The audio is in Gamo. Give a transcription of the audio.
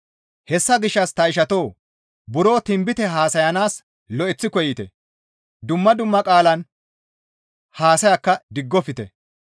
Hessa gishshas ta ishatoo! Buro tinbite haasayanaas lo7eththi koyite; dumma dumma qaalan haasayakka diggofte.